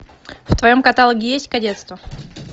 в твоем каталоге есть кадетство